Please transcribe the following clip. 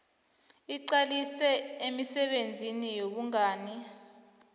iqalise emisebenzini yobungani